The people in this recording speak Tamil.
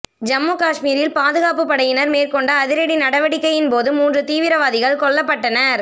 ஜம்மு காஷ்மீரில் பாதுகாப்புப்படையினர் மேற்கொண்ட அதிரடி நடவடிக்கையின் போது மூன்று தீவிரவாதிகள் கொல்லப்பட்டனர்